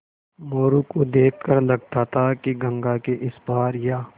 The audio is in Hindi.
मोरू को देख कर लगता था कि गंगा के इस पार या